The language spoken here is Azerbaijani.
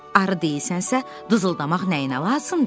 Arı deyirsənsə, düzəltmək nəyinə lazımdır?